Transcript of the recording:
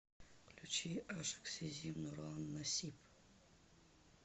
включи ашык сезим нурлан насип